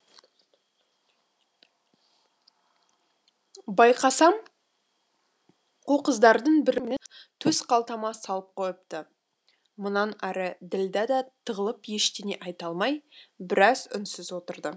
байқасам қу қыздардың бірі оның ключін менің төс қалтама салып қойыпты мұнан ары ділдә да тығылып ештеңе айта алмай біраз үнсіз отырды